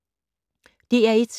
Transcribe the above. DR1